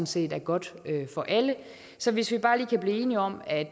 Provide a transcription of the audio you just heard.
set er godt for alle så hvis vi bare lige kan blive enige om at